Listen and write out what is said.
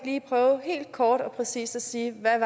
lige prøve helt kort og præcist at sige hvad